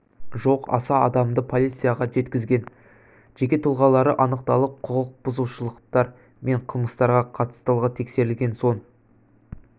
жоқ аса адамды полицияға жеткізген жеке тұлғалары анықталып құқық бұзушылықтар мен қылмыстарға қатыстылығы тексерілген соң